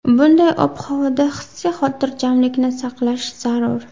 Bunday ob-havoda hissiy xotirjamlikni saqlash zarur.